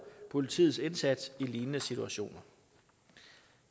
politiets indsats i lignende situationer